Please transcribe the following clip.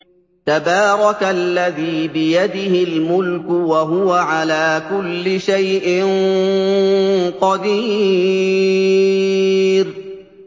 تَبَارَكَ الَّذِي بِيَدِهِ الْمُلْكُ وَهُوَ عَلَىٰ كُلِّ شَيْءٍ قَدِيرٌ